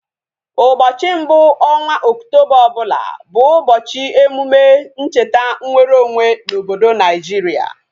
Ụbọchị mbụ ọnwa Okutoba ọbụla bụ ụbọchị emume ,ncheta nweru onwe na obodo Naijiria